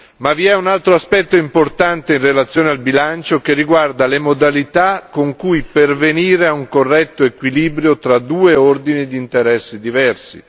Ma vi è un altro aspetto importante in relazione al bilancio che riguarda le modalità con cui pervenire a un corretto equilibrio tra due ordini di interessi diversi.